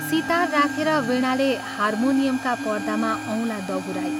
सितार राखेर वीणाले हार्मोनियमका पर्दामा औंला दगुराई।